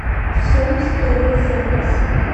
сом строй запись